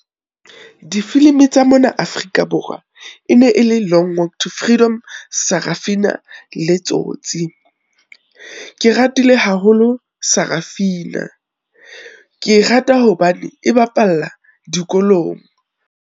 Difilimi tsa mona Afrika Borwa, e ne e le Long Walk to Freedom, Sarafina le Tsotsi. Ke ratile haholo Sarafina, ke e rata hobane e bapalla dikolong.